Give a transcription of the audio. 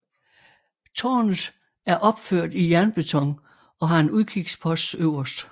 Tårnet er opført i jernbeton og har en udkigspost øverst